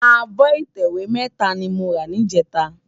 Ábò itèwé mètá ni mó rá nijètá